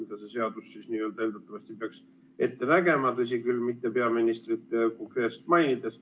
See seadus peaks seda eeldatavasti ette nägema, tõsi küll, peaministrit konkreetselt mitte mainides.